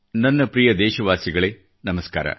ನನ್ನ ಪ್ರಿಯ ದೇಶವಾಸಿಗಳೇ ನಮಸ್ಕಾರ